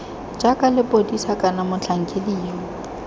jaaka lepodisa kana motlhankedi yo